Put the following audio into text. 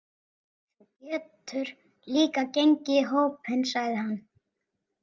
Þú getur líka gengið í hópinn, sagði hann.